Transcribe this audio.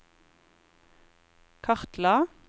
kartla